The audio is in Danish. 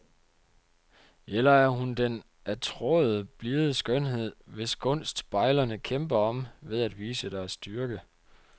Eller er hun den attråede blide skønhed, hvis gunst bejlerne kæmper om ved at vise deres styrke?